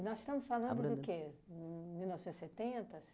nós estamos falando do quê? Mil novecentos e setenta